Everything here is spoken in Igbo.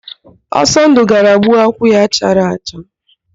Ọsọndụ gara gbuo akwụ ya chara acha.